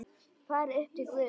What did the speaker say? Farin upp til Guðs.